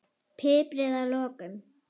Piprið að lokum.